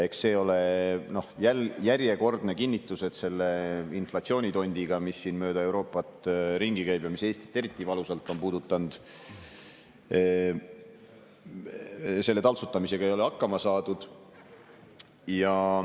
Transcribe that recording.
Eks see ole jälle järjekordne kinnitus, et selle inflatsioonitondi taltsutamisega, mis mööda Euroopat ringi käib ja mis Eestit eriti valusalt on puudutanud, ei ole hakkama saadud.